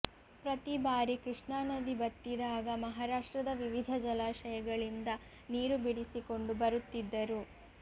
ಪ್ರತಿ ಬಾರಿ ಕೃಷ್ಣಾನದಿ ಬತ್ತಿದಾಗ ಮಹಾರಾಷ್ಟ್ರದ ವಿವಿಧ ಜಲಾಶಯಗಳಿಂದ ನೀರು ಬಿಡಿಸಿಕೊಂಡು ಬರುತ್ತಿದ್ದರು